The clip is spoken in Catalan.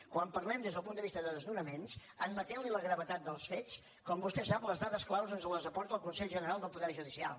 quan parlem des del punt de vista de desnonaments admetent·li la gravetat dels fets com vostè sap les da·des clau ens les aporta el consell general del poder judicial